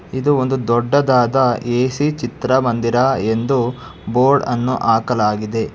ಇದು ಒಂದು ದೊಡ್ಡದಾದ ಎ_ಸಿ ಚಿತ್ರಮಂದಿರ ಎಂದು ಬೋರ್ಡ್ ಅನ್ನು ಹಾಕಲಾಗಿದೆ.